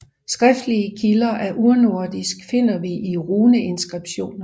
Skriftlige kilder af urnordisk finder vi i runeinskripsjoner